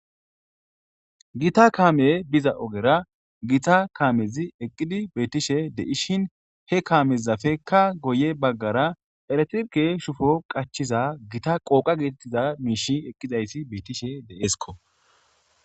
Gita kaame biza ogera gita kaamezi eqqidi beetishe deishin he kaamezafekka goye baggara eretke shufo qachiza gita qooqa geetettiza miishi eqqizaysi beettishe deeskko